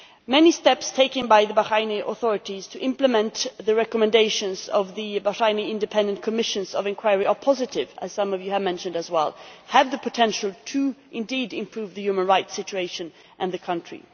Many steps taken by the Bahraini authorities to implement the recommendations of the Bahraini independent commissions of inquiry are positive, as some of you have also mentioned, and have the potential to improve the human rights situation in the country.